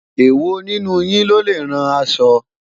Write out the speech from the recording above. ewọ nínú yín lọlẹ rán aṣọ?